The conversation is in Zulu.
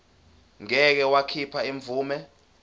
ngeke wakhipha imvume